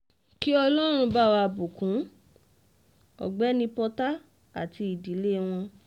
kí ọlọ́run bá wá bùkún ọ̀gbẹ́ni porta àti ìdílé wọn